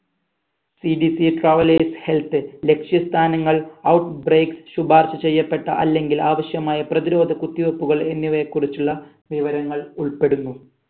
CGCtravel health ലക്ഷ്യ സ്ഥാനങ്ങൾ out break ശുപാർഷ ചെയ്യപ്പെട്ട അല്ലെങ്കിൽ ആവശ്യമായ പ്രതിരോധ കുത്തി വെപ്പുകൾ എന്നിവയെ കുറിച്ചുള്ള വിവരങ്ങൾ ഉൾപ്പെടുന്നു